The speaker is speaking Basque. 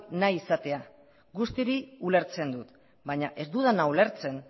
nahi izatea guzti hori ulertzen dut baina ez dudana ulertzen